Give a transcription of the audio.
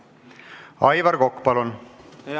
Aivar Kokk, palun!